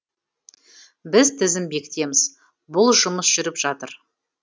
біз тізім бекітеміз бұл жұмыс жүріп жатыр